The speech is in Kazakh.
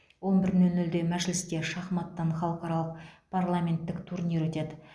он бір нөл нөлде мәжілісте шахматтан халықаралық парламенттік турнир өтеді